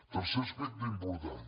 tercer aspecte important